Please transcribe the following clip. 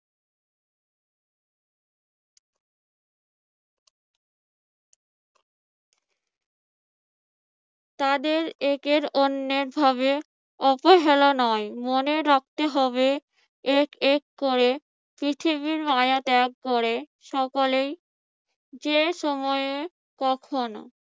তাদের একের অন্যায়ভাবে অবহেলা নয় মনে রাখতে হবে এক এক করে পৃথিবীর মায়া ত্যাগ করে সকলেই যে সময়ে কখনও